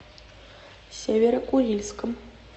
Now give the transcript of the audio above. северо курильском